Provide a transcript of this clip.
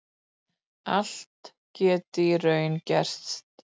Allt geti í raun gerst